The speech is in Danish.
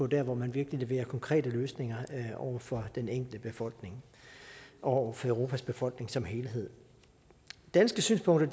dér hvor man virkelig leverer konkrete løsninger for den enkelte befolkning og for europas befolkning som helhed danske synspunkter